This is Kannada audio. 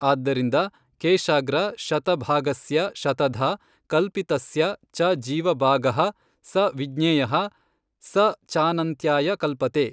ಆದ್ದರಿಂದ ಕೇಶಾಗ್ರ ಶತ ಭಾಗಸ್ಯ ಶತಧಾ ಕಲ್ಪಿತಸ್ಯ ಚ ಜೀವ ಭಾಗಃ ಸ ವಿಜ್ಞೇಯಃ ಸ ಚಾನಂತ್ಯಾಯ ಕಲ್ಪತೇ.